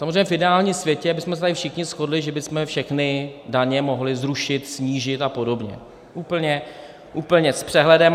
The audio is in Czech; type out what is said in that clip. Samozřejmě v ideálním světě bychom se tady všichni shodli, že bychom všechny daně mohli zrušit, snížit a podobně, úplně s přehledem.